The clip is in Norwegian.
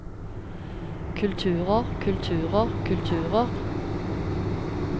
kulturer kulturer kulturer